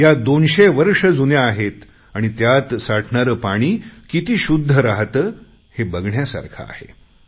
या दोनशे वर्ष जुन्या आहेत आणि त्यात साठणारे पाणी किती शुद्ध राहते हे बघण्यासारखे आहे